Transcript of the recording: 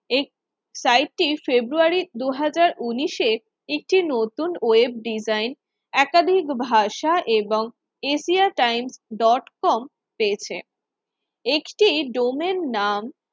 এক সাইটটি ফেব্রুয়ারি দুই হাজার উন্নিশ এ একটি নতুন ওয়েব ডিজাইন একাধিক ভাষা এবং এশিয়া টাইমস ডট কম পেয়েছে একটি ডোমেন নাম